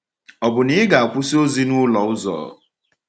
Ọ̀ bụ na ị ga-akwụsị ozi n’ụlọ-ụzọ?